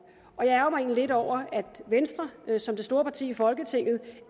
og jeg ærgrer mig egentlig lidt over at venstre som det store parti i folketinget